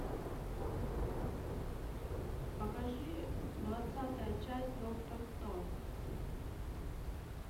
покажи двадцатая часть доктор кто